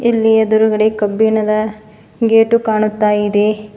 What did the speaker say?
ಇಲ್ಲಿ ಎದ್ರುಗಡೆ ಕಬ್ಬಿಣದ ಗೇಟು ಕಾಣುತ್ತಾ ಇದೆ.